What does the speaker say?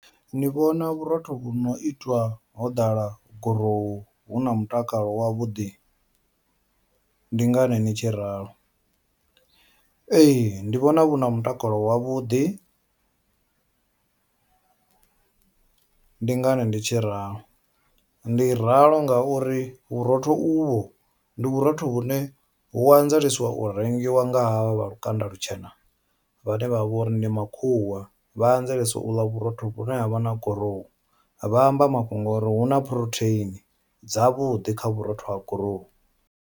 Ni vhona vhurotho vhu no itwa ho ḓala gurowu huna mutakalo wavhuḓi ndi ngani ni tshi ralo, ee ndi vhona vhuna mutakalo wavhuḓi, ndi ngani ndi tshi ralo ndi ralo ngauri vhurotho uvho ndi vhurotho vhune hu anzelesiwa u rengiwa nga havha vha lukanda lutshena vhane vha vha vha uri ndi makhuwa vha anzelesa uḽa vhurotho vhune havha na gurowu vha amba mafhungo uri huna phurotheini dzavhuḓi kha vhurotho ha gurowu.